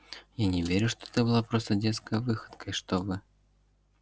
я не верю что это была просто детская выходка и что вы